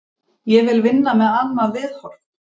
Ég vil vinna með annað viðhorf.